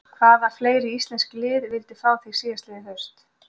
Hvaða fleiri íslensk lið vildu fá þig síðastliðið haust?